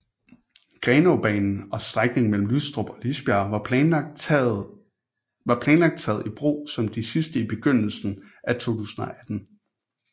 Grenaabanen og strækningen mellem Lystrup og Lisbjerg var planlagt taget i brug som de sidste i begyndelsen af 2018